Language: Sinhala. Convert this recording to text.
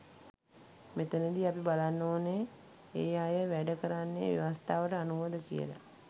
මෙතනදි අපි බලන්න ඕනෙ ඒ අය වැඩ කරන්නේ ව්‍යවස්ථාවට අනුවද කියලා.